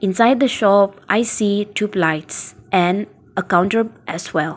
inside the shop i see tubelights and a counter as well.